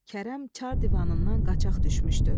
Kərəm Çar divanından qaçaq düşmüşdü.